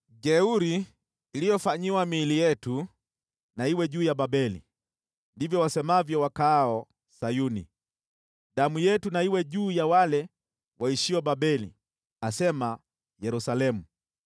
Jeuri iliyofanyiwa miili yetu na iwe juu ya Babeli,” ndivyo wasemavyo wakaao Sayuni. “Damu yetu na iwe juu ya wale waishio Babeli,” asema Yerusalemu.